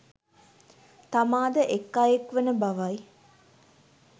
තමාද එක් අයෙක් වන බවයි.